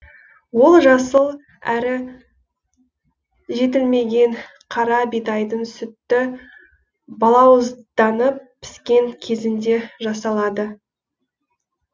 ол жасыл әрі жетілмеген қара бидайдың сүтті балауызданып піскен кезінде жасалады